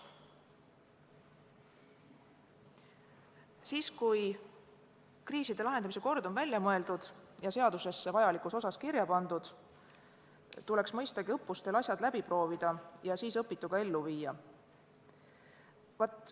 Siis, kui kriiside lahendamise kord on välja mõeldud ja seadusesse vajalikus osas kirja pandud, tuleks mõistagi õppustel asjad läbi proovida ja siis õpitu ellu viia.